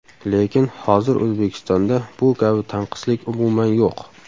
Lekin hozir O‘zbekistonda bu kabi tanqislik umuman yo‘q.